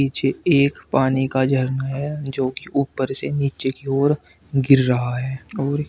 पीछे एक पानी का झरना है जो की ऊपर से नीचे की ओर गिर रहा है और--